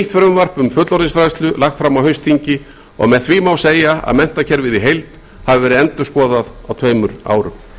frumvarp um fullorðinsfræðslu lagt fram á haustþingi og með því má segja að menntakerfið í heild hafi verið endurskoðað á tveimur árum